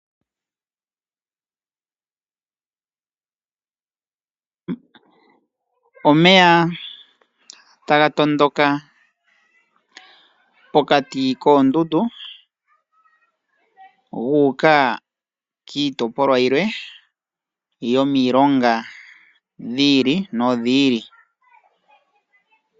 Omeya taga matuka pokati poondundu gu uka kiitopolwa yilwe yomilonga dhi ili nodhi ili.